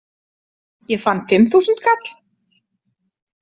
Ég fann fimmþúsundkall.